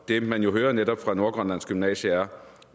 det man jo netop hører fra nordgrønlands gymnasium